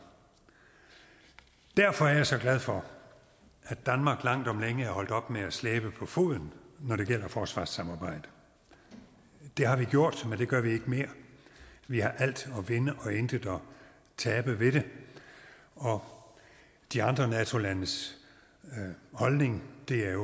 derfor er jeg så glad for at danmark langt om længe er holdt op med at slæbe på foden når det gælder forsvarssamarbejdet det har vi gjort men det gør vi ikke mere vi har alt at vinde og intet at tabe ved det og de andre nato landes holdning er